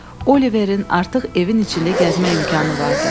Oliverin artıq evin içində gəzmək imkanı vardı.